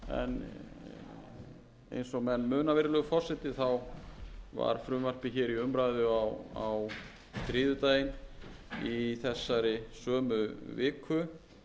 en eins og menn muna virðulegi forseti var frumvarpið hér í umræðu á þriðjudaginn í þessari sömu viku